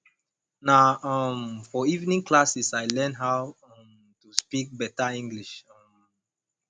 na um for evening class i learn how um to speak better english um